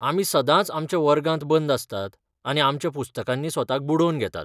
आमी सदांच आमच्या वर्गांत बंद आसतात आनी आमच्या पुस्तकांनी स्वताक बुडोवन घेतात.